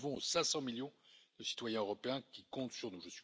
Nous le devons aux 500 millions de citoyens européens qui comptent sur nous.